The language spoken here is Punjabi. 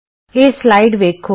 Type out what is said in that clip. ਇਹ ਸਲਾਈਡ ਵੇਖੋ